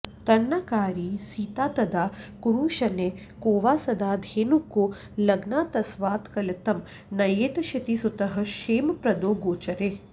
तन्नाकारि सितात्तदा कुरुशनेः कोवासदाधेनुको लग्नात्स्वात्कलितं नयेत् क्षितिसुतः क्षेमप्रदो गोचरे